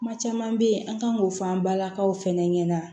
Kuma caman bɛ ye an kan k'o fɔ an balakaw fana ɲɛna